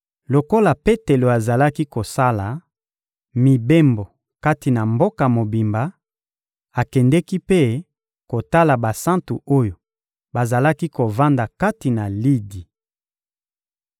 Lokola Petelo azalaki kosala mibembo kati na mboka mobimba, akendeki mpe kotala basantu oyo bazalaki kovanda kati na Lidi.